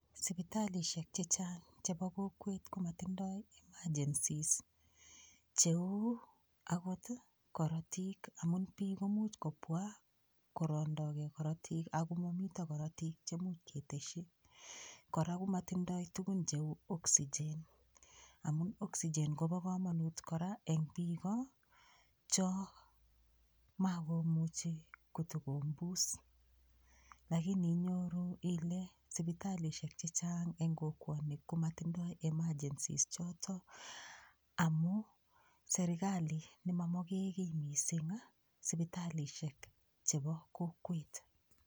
Sipitalishek chechang' chebo kokwet komatindoi emergencies cheu akot korotik amun biik komuuch kobwa korondokei korotik ako mamito korotik chemuch keteshi kora komatindoi tukun cheu oxygen amun oxygen kobo komonut kora eng' biko cho makomuchi kotikombus lakini inyoru ile sipitalishek chechang' eng' kokwonik komatindoi emergencies choto amu serikali nemamoke kii mising' sipitalishek chebo kokwet